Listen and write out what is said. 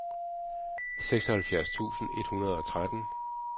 seksoghalvfjerds tusind et hundrede og tretten